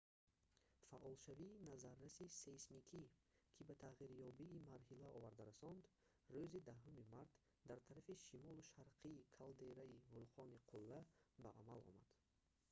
фаъолшавии назарраси сейсмикӣ ки ба тағйирёбии марҳила оварда расонд рӯзи 10 март дар тарафи шимолу шарқии калдераи вулқони қулла ба амал омад